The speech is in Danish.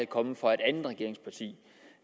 kommet fra et andet regeringsparti